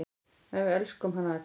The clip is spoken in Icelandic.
En við elskuðum hana öll.